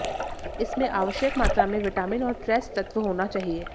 इसमें आवश्यक मात्रा में विटामिन और ट्रेस तत्व होना चाहिए